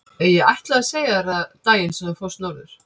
Ég ætlaði að segja þér það daginn sem þú fórst norður.